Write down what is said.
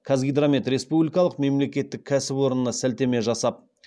қазгидромет республикалық мемлекеттік кәсіпорынына сілтеме жасап